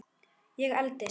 Ég eldist.